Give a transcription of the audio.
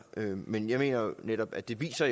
men jeg mener netop at det viser